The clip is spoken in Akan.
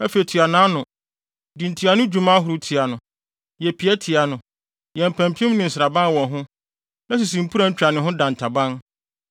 Afei tua nʼano: Di ntuano dwuma ahorow tia no, yɛ pie tia no, yɛ mpampim ne nsraban wɔ ho, na sisi mpuran twa ne ho dantaban.